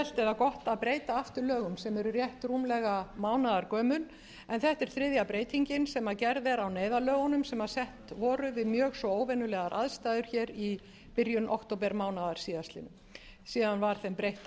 eða gott að breyta aftur lögum sem eru rétt rúmlega mánaðargömul en þetta er þriðja breytingin sem gerð er á neyðarlögunum sem sett voru við mjög svo óvenjulegar aðstæður hér í byrjun októbermánaðar síðastliðinn síðan var þeim breytt